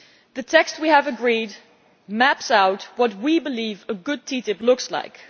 The text we have agreed maps out what we believe a good TTIP should look like.